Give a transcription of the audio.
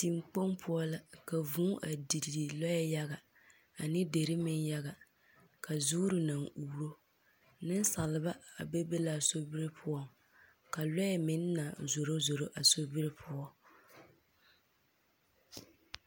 Teŋkpoŋ poɔ la, ka vūū didi lɔɛɛ yaga ane deri meŋ yaga. Ka zoore naŋ uuro. Nensaalba a bebe la a sobiri poɔ. Ka lɔɛ meŋ naŋ zoro zoro a so iri poɔ.